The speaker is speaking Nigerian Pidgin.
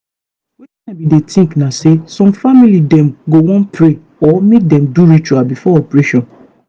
wetin i bin dey think na say some family dem go wan pray or make dem do ritual before operation.